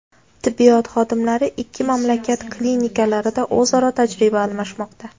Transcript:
Tibbiyot xodimlari ikki mamlakat klinikalarida o‘zaro tajriba almashmoqda.